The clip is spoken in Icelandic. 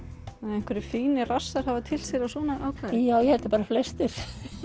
einhverjir fínir hafa tyllt sér á svona áklæði já ég held að bara flestir